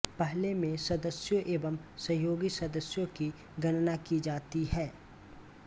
पहले में सदस्यों एवं सहयोगी सदस्यों की गणना की जाती है